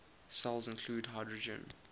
cells include hydrogen